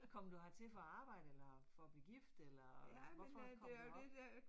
Kom du hertil for at arbejde eller for at blive gift eller, hvorfor kom du herop?